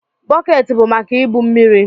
Bọket bu maka ibu mmiri.